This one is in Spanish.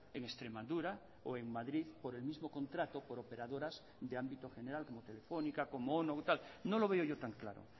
en extremadura o en madrid por el mismo contrato por operadoras de ámbito general como telefónica como ono no lo veo yo tan claro